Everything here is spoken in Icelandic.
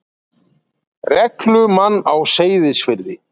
reglumann á Seyðisfirði.